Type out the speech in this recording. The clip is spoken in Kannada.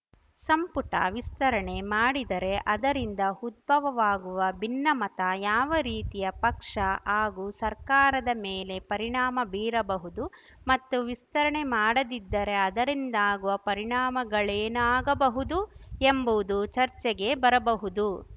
ಸಂಪುಟ ವಿಸ್ತರಣೆ ಮಾಡಿದರೆ ಅದರಿಂದ ಉದ್ಭವವಾಗುವ ಭಿನ್ನಮತ ಯಾವ ರೀತಿಯ ಪಕ್ಷ ಹಾಗೂ ಸರ್ಕಾರದ ಮೇಲೆ ಪರಿಣಾಮ ಬೀರಬಹುದು ಮತ್ತು ವಿಸ್ತರಣೆ ಮಾಡದಿದ್ದರೆ ಅದರಿಂದಾಗುವ ಪರಿಣಾಮಗಳೇನಾಗಬಹುದು ಎಂಬುದು ಚರ್ಚೆಗೆ ಬರಬಹುದು